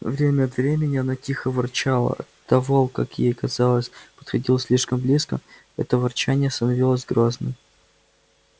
время от времени она тихо ворчала а когда волк как ей казалось подходил слишком близко это ворчание становилось грозным